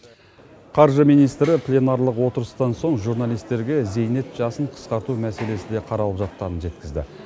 қаржы министрі пленарлық отырыстан соң журналистерге зейнет жасын қысқарту мәселесі де қаралып жатқанын жеткізді